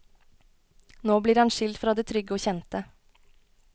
Nå blir han skilt fra det trygge og kjente.